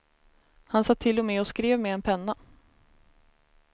Han satt till och med och skrev med en penna.